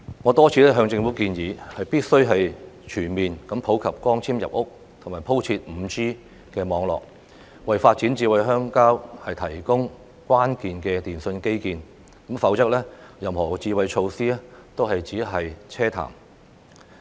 我多次向政府建議，必須全面普及光纖入屋，並鋪設 5G 網絡，為發展"智慧鄉郊"提供關鍵的電訊基建，否則任何智慧措施都只是奢談。